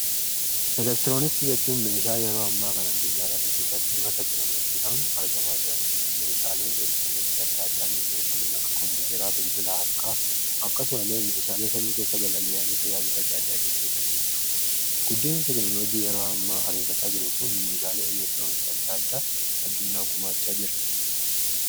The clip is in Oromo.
elektirooniksii jechuun meeshaa yeroo ammaa kana addunyaa irratti bifa tekinooloojiidhaan argamaa jiranidha meeshaale elektirooniksi gosa adda addaatu jiru kanneen akka kompiiteraa bilbila harkaa akkasumallee meeshaalee sami kessa balali'an baayeetu jiruu guddinni tekinooloojii yeroo ammaa ariifataa jiru kun meeshaalee elektirooniksii adda addaa addunyaaf gumaachaa jira.